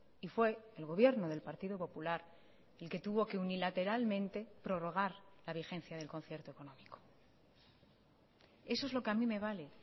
y fue el gobierno del partido popular el que tuvo que unilateralmente prorrogar la vigencia del concierto económico eso es lo que a mí me vale